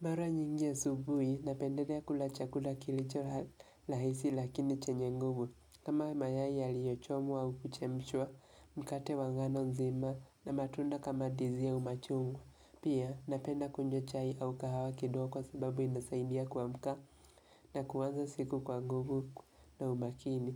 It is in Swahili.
Mara nyingi asubuhi, napendelea kula chakula kilicho rahisi lakini chenye nguvu. Kama mayai ya liyochomwa au kuchemshwa, mkate wa ngano nzima na matunda kama ndizi au machungwa. Pia, napenda kunywa chai au kahawa kidogo kwa sababu inasaidia kuamka na kuanza siku kwa nguvu na umakini.